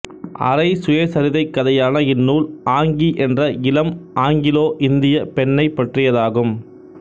அரை சுயசரிதைக் கதையான இந்நூல் ஆங்கி என்ற இளம் ஆங்கிலோஇந்தியப் பெண்ணைப் பற்றியதாகும்